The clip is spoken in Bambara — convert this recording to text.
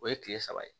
O ye tile saba ye